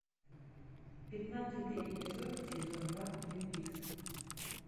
пятнадцатый эпизод сезон два твин пикс